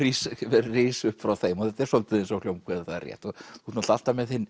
er ris upp frá þeim og þetta er svolítið eins og það er rétt þú ert náttúrulega alltaf með þinn